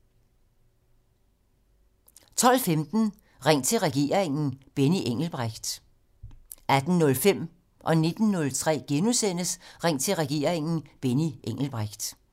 12:15: Ring til regeringen: Benny Engelbrecht 18:05: Ring til regeringen: Benny Engelbrecht * 19:03: Ring til regeringen: Benny Engelbrecht *